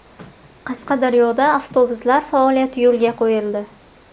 Qashqadaryoda avtobuslar faoliyati yo‘lga qo‘yildi.